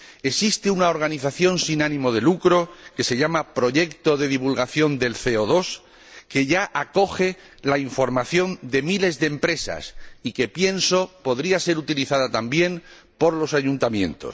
Existe una organización sin ánimo de lucro que se llama Proyecto de divulgación del CO 2 que ya acoge la información de miles de empresas y que pienso podría ser utilizada también por los ayuntamientos.